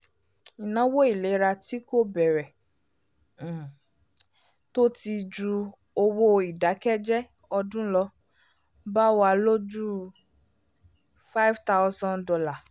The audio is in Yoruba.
ináwó ìlera tí kò bẹ̀rẹ̀ um tó ti ju owó ìdákẹ́jẹ ọdún lọ bá wa lójú $ five thousand